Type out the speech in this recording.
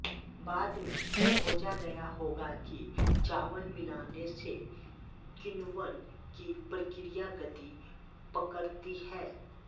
बाद में खोजा गया होगा कि चावल मिलाने से किण्वन की प्रक्रिया गति पकड़ती है